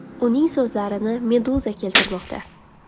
Uning so‘zlarini Meduza keltirmoqda .